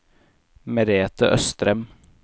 Merethe Østrem